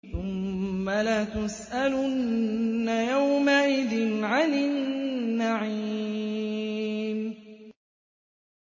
ثُمَّ لَتُسْأَلُنَّ يَوْمَئِذٍ عَنِ النَّعِيمِ